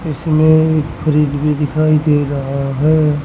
इसमें एक फ्रिज भी दिखाई दे रहा है।